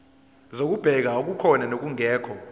zokubheka okukhona nokungekho